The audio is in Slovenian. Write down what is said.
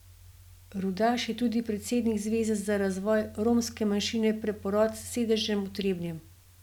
Rudaš je tudi predsednik zveze za razvoj romske manjšine Preporod s sedežem v Trebnjem.